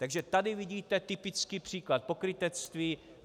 Takže tady vidíte typický příklad pokrytectví.